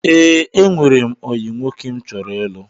Ee, enwere m ọyị nwoke m chọrọ ịlụ.